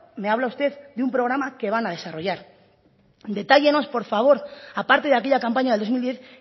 me habla usted de un programa que van a desarrollar detállenos por favor aparte de aquella campaña de dos mil diez